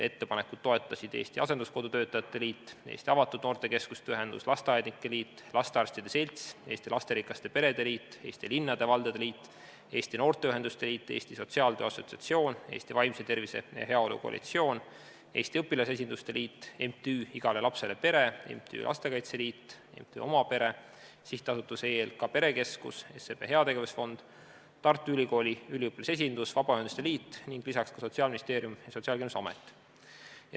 Ettepanekut toetasid Eesti Asenduskodu Töötajate Liit, Eesti Avatud Noortekeskuste Ühendus, Eesti Lasteaednike Liit, Eesti Lastearstide Selts, Eesti Lasterikaste Perede Liit, Eesti Linnade ja Valdade Liit, Eesti Noorteühenduste Liit, Eesti Sotsiaaltöö Assotsiatsioon, Eesti Vaimse Tervise ja Heaolu Koalitsioon, Eesti Õpilasesinduste Liit, MTÜ Igale Lapsele Pere, MTÜ Lastekaitse Liit, MTÜ Oma Pere, SA EELK Perekeskus, SEB Heategevusfond, Tartu Ülikooli üliõpilasesindus, Vabaühenduste Liit ning lisaks ka Sotsiaalministeerium ja Sotsiaalkindlustusamet.